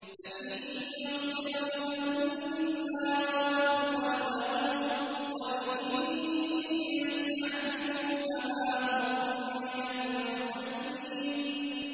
فَإِن يَصْبِرُوا فَالنَّارُ مَثْوًى لَّهُمْ ۖ وَإِن يَسْتَعْتِبُوا فَمَا هُم مِّنَ الْمُعْتَبِينَ